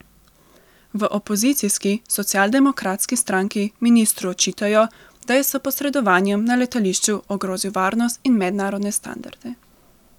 V opozicijski socialdemokratski stranki ministru očitajo, da je s posredovanjem na letališču ogrozil varnost in mednarodne standarde.